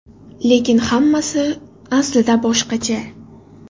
Lekin hammasi aslida boshqacha.